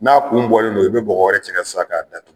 N'a kun bɔlen don i bɛ bɔgɔ wɛrɛ cɛ k'a sa k'a datu